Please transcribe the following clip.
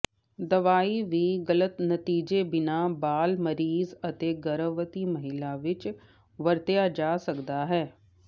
ਦਵਾਈ ਵੀ ਗਲਤ ਨਤੀਜੇ ਬਿਨਾ ਬਾਲ ਮਰੀਜ਼ ਅਤੇ ਗਰਭਵਤੀ ਮਹਿਲਾ ਵਿੱਚ ਵਰਤਿਆ ਜਾ ਸਕਦਾ ਹੈ